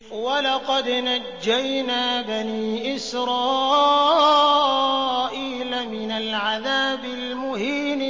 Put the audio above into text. وَلَقَدْ نَجَّيْنَا بَنِي إِسْرَائِيلَ مِنَ الْعَذَابِ الْمُهِينِ